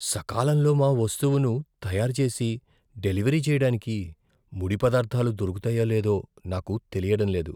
సకాలంలో మా వస్తువును తయారు చేసి డెలివరీ చేయడానికి ముడి పదార్థాలు దొరుకుతాయో లేదో నాకు తెలియడం లేదు.